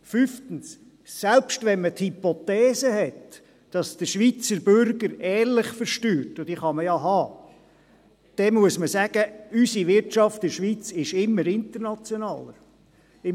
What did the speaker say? Fünftens, selbst wenn man von der Hypothese ausgeht, dass der Schweizer Bürger ehrlich versteuert – und dies kann man ja tun – muss man sagen, dass unsere Wirtschaft in der Schweiz immer internationaler wird.